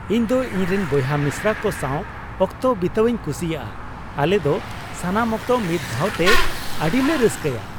ᱤᱧ ᱫᱚ ᱤᱧᱨᱮᱱ ᱵᱚᱭᱦᱟ ᱢᱤᱥᱨᱟ ᱠᱚ ᱥᱟᱣ ᱚᱠᱛᱚ ᱵᱤᱛᱟᱹᱣᱤᱧ ᱠᱩᱥᱤᱭᱟᱜᱼᱟ ᱾ ᱟᱞᱮ ᱫᱚ ᱥᱟᱱᱟᱢ ᱚᱠᱛᱚ ᱢᱤᱫ ᱫᱷᱟᱣᱛᱮ ᱟᱹᱰᱤᱞᱮ ᱨᱟᱹᱥᱠᱟᱹᱭᱟ ᱾